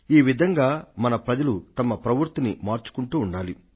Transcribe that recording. ఈ విధంగా మన ప్రజలు వారి ప్రవృత్తిని మార్చుకొంటూ ఉండాలి